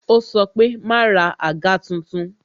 Ó sọ pé "ma ra àga tuntun"